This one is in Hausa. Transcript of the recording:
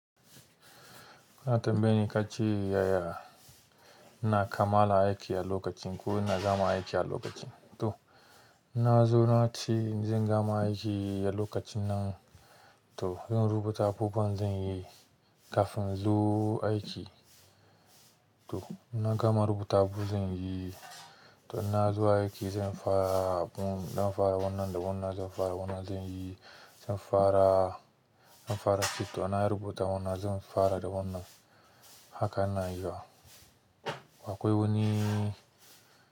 Na tambaye ni kace yaya ina kammala aiki a lokacin ko ina gama aiki a lokacin? To inna zo na ce zan gama aiki a lokacin nan. To zan rubuta abubuwan zan iya yi kafin inzo aiki to inna gama rubuta abin zan yi. To inna zo aiki zan fara abun zan fara wannan da wannan, zan fara wannan zan yi, zan fara, zan fara ince to na rubuta wannan zan fara da wannan. Haka inna yi wa. Akwai wani.